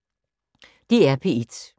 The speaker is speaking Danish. DR P1